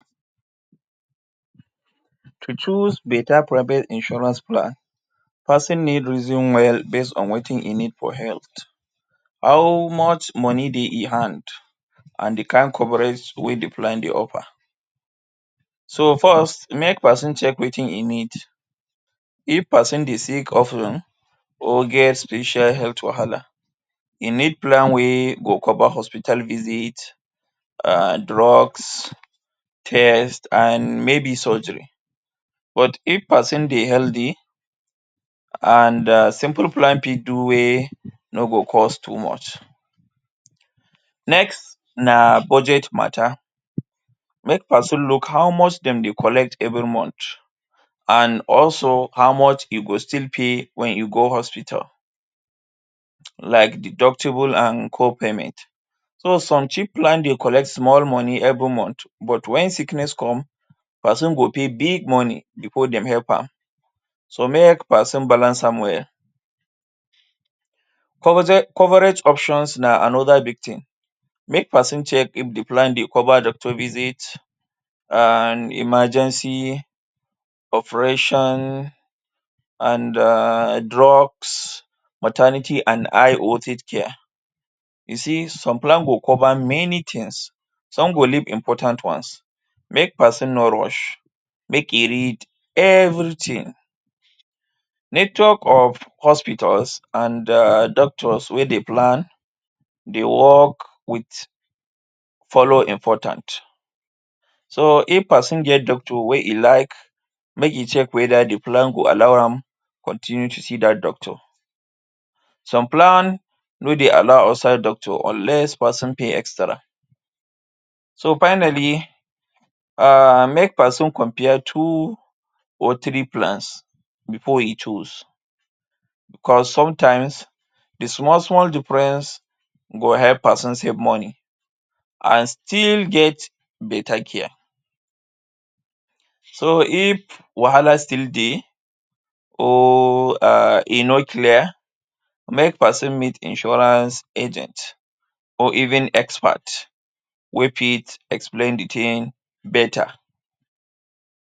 To choose beta private insurance plan, peson need reason well base on wetin e need for health, how much money dey e hand, an the kain coverage wey the plan dey offer. So first, make peson check wetin e need. If peson dey sick of ten or get special health wahala, e need plan wey go cover hospital visit, um drugs, test an maybe surgery. But if peson dey healthy, an um simple plan fit do wey no go cost too much. Next na budget matter. Make peson look how much dem dey collect every month, an also how much e go still pay wen e go hospital like deductible an core payment. So, some cheap plan dey collect small money every month but wen sickness come, peson go pay big money before dem help am. So make peson balance am well. Coverage options na another big tin. Make peson check if the plan dey cover doctor visit, an emergency operation, an um drugs, maternity, an high care. You see, some plan go cover many tins. Some go leave important ones. Make peson no rush, make e read everything. Network of hospitals an um doctors wey the plan dey work with follow important. So, if peson get doctor wey e like, make e check whether the plan go allow am continue to see dat doctor. Some plan no dey allow outside doctor unless peson pay extra. So finally, um make peson compare two or three plans before e choose cos sometimes, the small-small difference go help peson save money an still get beta care. So, if wahala still dey or um e no clear, make peson meet insurance agent or even expert wey fit explain the tin beta..